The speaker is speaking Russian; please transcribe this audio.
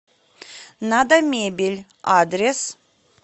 надо мебель адрес